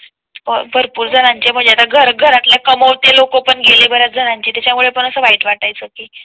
भरपूर जणांचे म्हणजे आता घर घरातल्या कमाव ते लोकं पण गेल्या जणांचे त्याच्या मुळे पण असं वाईट वाटाय चं की तुम्ही खूप वेळ